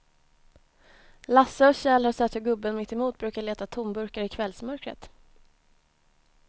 Lasse och Kjell har sett hur gubben mittemot brukar leta tomburkar i kvällsmörkret.